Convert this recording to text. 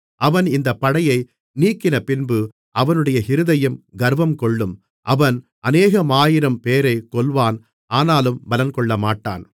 அவன் இந்தப் படையை நீக்கினபின்பு அவனுடைய இருதயம் கர்வங்கொள்ளும் அவன் அநேகமாயிரம்பேரை கொல்வான் ஆனாலும் பலங்கொள்ளமாட்டான்